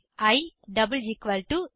if E 20